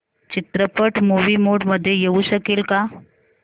चित्रपट movie mode मध्ये येऊ शकेल का